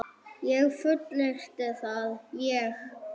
Ég get fullyrt það, ég.